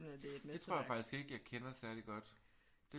Det tror jeg faktisk ikke jeg kender særlig godt